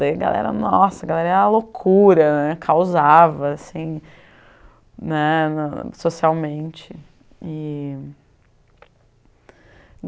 Daí a galera, nossa, a galera ia a loucura né, causava assim, né, socialmente e